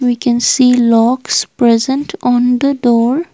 we can see locks present on the door.